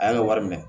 An y'an ka wari minɛ